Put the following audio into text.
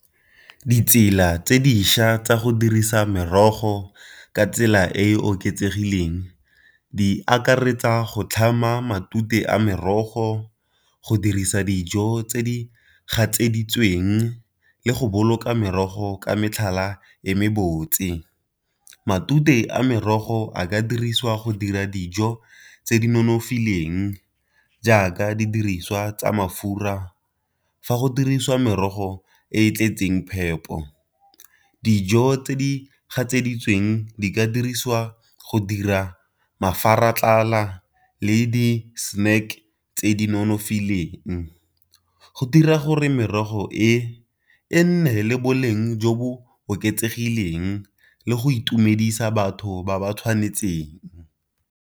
Ditsela tse dišwa tsa go dirisa merogo ka tsela e e oketsegileng di akaretsa go tlhama matute a merogo, go dirisa dijo tse di gatseditsweng, le go boloka merogo ka metlhala e me botse. Matute a merogo a ka dirisiwa go dira dijo tse di nonofileng jaaka didiriswa tsa mafura, fa go dirisiwa merogo e e tletseng phepo. Dijo tse di gatseditsweng di ka diriswa go dira le di-snack tse di nonofileng. Go dira gore merogo e e nne le boleng jo bo oketsegileng le go itumedisa batho ba ba tshwanetseng.